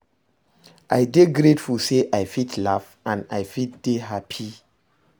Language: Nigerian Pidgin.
I dey grateful say I fit laugh and I fit dey hapi